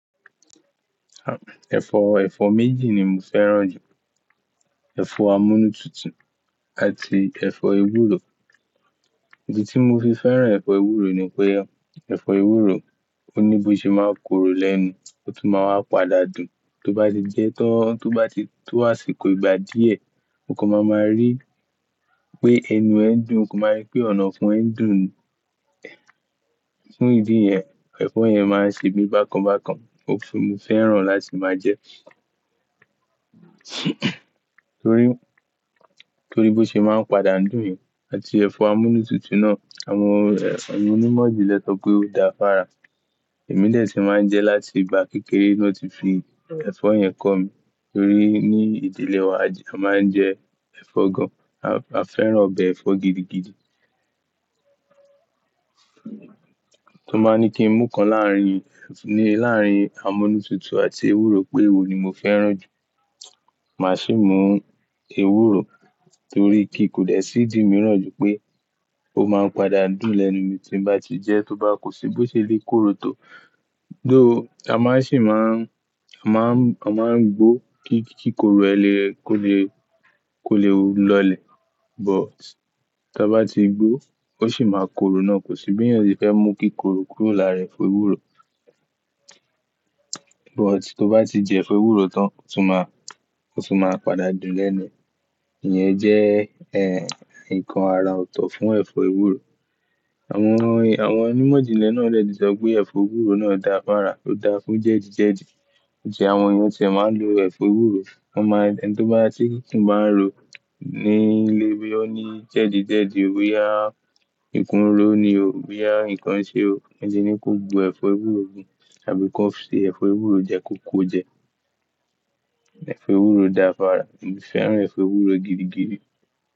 À, ẹ̀fọ, ẹ̀fọ méjì ni mo fẹ́ràn jù. Ẹ̀fọ amúnútutù àti ẹ̀fọ ewúro. Ìdí tí mo fi fẹ́ràn ẹ̀fọ ewúro ni pé, ẹ̀fọ ewúro ó ní bó ṣe máa korò lẹ́nu, ó tún máa wá padà dùn. Tó bá ti jẹ tán, tó bá ti tó àsìkò ìgbà díẹ̀, o kò máa máa rí pé ẹnu ẹ ń dùn, o kò máa rí pé ọ̀nàfun ẹ ń dùn. Fún ìdí yẹn, ẹ̀fọ yẹn máa ń ṣe mí bákan bákan, ó sì ni mo fẹ́ràn láti máa jẹ. Torí, torí bó ṣe é máa ń padà dùn yẹn àti ẹ̀fọ amúnútutù náà, àwọn, àwọn onímọ̀ ìjìnlẹ̀ sọ pé ó dáa fára. Ẹ̀mí dẹ̀ ti máa ń jẹ láti ìgbà kékeré ná ti fi ẹ̀fọ yẹn kọ́ mi. Torí ní ìdílé wa a máa ń jẹ ẹ̀fọ gan. A, a fẹ́ràn ọbẹ̀ ẹ̀fọ gidigidi. Tàn bá ní kí n mú kan láàrín, ní láàrín amúnútutù àti ewúro pé wo ni mo fẹ́ràn jù, màá sì mú ewúro torí kí kò dẹ̀ sí di mìíràn jù pé ó máa ń padà dùn lẹ́nu mi tí n bá ti jẹ, tó bá kò sí bó ṣe lè korò tó. Though, a má sì máa ń, a má ń, a má ń gbó kí, kí korò ẹ lẹ kó le, kó lè lọlẹ̀., But ta bá ti gbó ó sì máa korò náà, kò sí bí èèyàn ṣe fẹ́ mú kí korò kúrò láàrẹ ẹ̀fọ ewúro. But, tó bá ti jẹ ẹ̀fọ ewúro tán, ó tún má, ó tún máa padà dùn lẹ́nu ẹ. Iyẹn jẹ́, ẹ, nǹkan ara ọ̀tọ̀ fún ẹ̀fọ ewúro. Àwọn è, àwọn onímọ̀ ìjìnlẹ̀ náà dẹ̀ ti sọ pé ẹ̀fọ ewúro náà dáa fára, ó dáa fún jẹ̀dí jẹ̀dí. Ǹjẹ́ àwọn èèyàn ti ẹ̀ máa ń lo ẹ̀fọ ewúro, wọ́n máa ń, ẹ ni tó bá ti kù bá ń ro ní ilé bí ó ní jẹ̀dí jẹ̀dí, bó yá ìkún ro ni o, bó yá nǹkan ṣe o. Wón le ní kó gbu ẹ̀fọ ewúro mú àbí kó ṣe ẹ̀fọ ewúro jẹ kóko jẹ. Ẹ̀fọ ewúro dáa fára, emí fẹ́ràn ẹ̀fọ ewúro gidigidi.